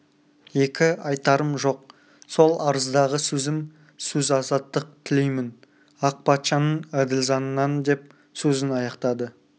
екі айтарым жоқ сол арыздағы сөзім сөз азаттық тілеймін ақ патшаның әділ заңынан деп сөзін аяқтады